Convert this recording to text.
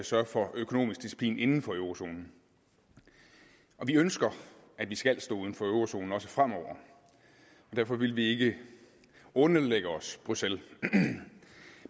sørge for økonomisk disciplin inden for eurozonen og vi ønsker at vi skal stå uden for eurozonen også fremover og derfor vil vi ikke underlægge os bruxelles